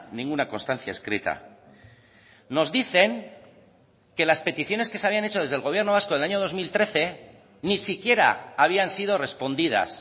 ninguna constancia escrita nos dicen que las peticiones que se habían hecho desde el gobierno vasco del año dos mil trece ni siquiera habían sido respondidas